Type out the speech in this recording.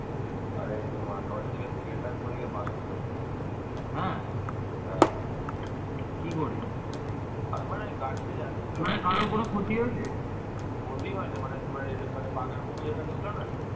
তারা দক্ষিণ পূর্ব এশিয়ার সুমাত্রা দ্বীপে এরকম একটি বিরাট সাম্রাজ্য গড়ে তুলেছিলেন